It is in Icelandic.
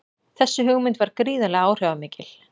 Þessi hugmynd varð gríðarlega áhrifamikil.